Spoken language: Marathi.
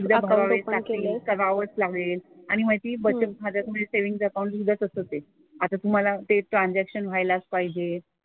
एकदा टाकली करावंच लागेल. आणि माहिती आहे? बचत खात्याचं म्हणजे सेव्हिन्ग अकाउंट असतं ते. आता तू मला ते ट्रांझॅक्शन व्हायला पहिले,